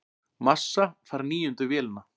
Massa fær níundu vélina